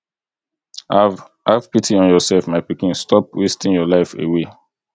have have pity on yourself my pikin stop wasting your life away